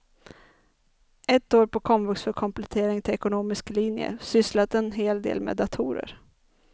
Ett år på komvux för komplettering till ekonomisk linje, sysslat en hel del med datorer.